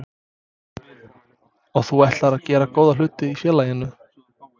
Og þú ætlar að gera góða hluti í félaginu?